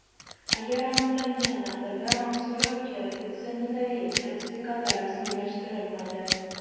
Agar aniqlangan taqdirda, mahsulotga fitosanitariya sertifikati rasmiylashtirilmaydi.